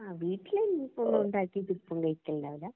ആ വീടിലിരുന്നിപ്പോ ഉണ്ടാക്കിട്ടു ഇപ്പം കഴിക്കലൊണ്ടാവില്ല